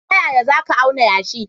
Ta yaya za ka auna yashi?